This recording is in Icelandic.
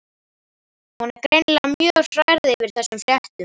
Hún er greinilega mjög hrærð yfir þessum fréttum.